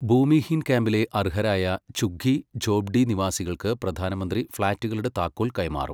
ഭൂമിഹീൻ ക്യാമ്പിലെ അർഹരായ ഝുഗ്ഗി ഝോപ്ഡി നിവാസികൾക്കു പ്രധാനമന്ത്രി ഫ്ലാറ്റുകളുടെ താക്കോൽ കൈമാറും